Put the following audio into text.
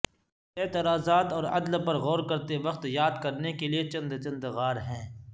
اعتراضات اور عدل پر غور کرتے وقت یاد کرنے کے لئے چند چند غار ہیں